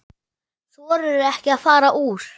Þorirðu ekki að fara úr?